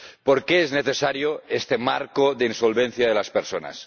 ¿Por qué es necesario este marco de insolvencia de las personas?